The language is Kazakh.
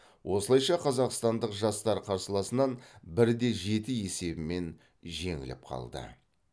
осылайша қазақстандық жастар қарсыласынан бір де жеті есебімен жеңіліп қалды